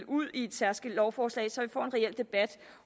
ud i et særskilt lovforslag så vi får en reel debat